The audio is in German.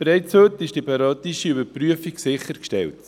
Bereits heute ist die periodische Überprüfung sichergestellt.